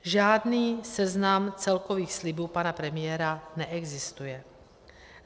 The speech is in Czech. Žádný seznam celkových slibů pana premiéra neexistuje.